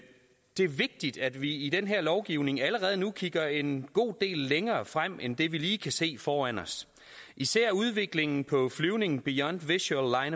det er vigtigt at vi i den her lovgivning allerede nu kigger en god del længere frem end det vi lige kan se foran os især udviklingen på flyvning beyond visual